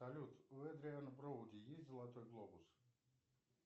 салют у эдриана броуди есть золотой глобус